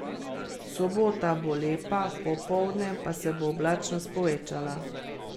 Sobota bo lepa, popoldne pa se bo oblačnost povečala.